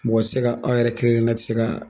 Mɔgɔ tɛ se ka aw yɛrɛ kelenkelenna tɛ se ka